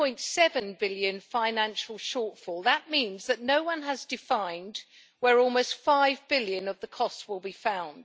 4.7 billion financial shortfall. That means that no one has defined where almost EUR 5 billion of the costs will be found.